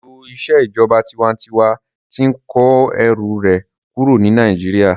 Ètò ìṣèjọba tinwatinwa tí n kó ẹrù rẹ̀ kúrò ní Nàìjíríyà